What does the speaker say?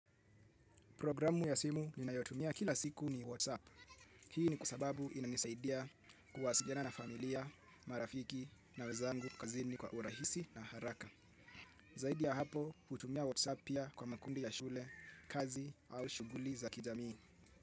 Programu ya simu ninayotumia kila siku ni WhatsApp. Hii ni kwa sababu inanisaidia kuwasiliana na familia, marafiki na wezangu kazini kwa urahisi na haraka. Zaidi ya hapo hutumia WhatsApp pia kwa makundi ya shule, kazi au shughuli za kijamii.